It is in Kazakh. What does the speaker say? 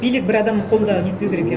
билік бір адамның қолында нетпеу керек иә